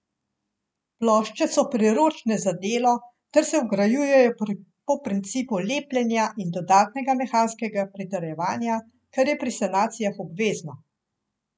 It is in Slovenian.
Plošče so priročne za delo ter se vgrajujejo po principu lepljenja in dodatnega mehanskega pritrjevanja, kar je pri sanacijah obvezno.